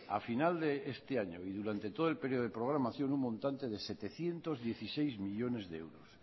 a final de este año y durante todo el período de programación un montante de setecientos dieciséis millónes de euros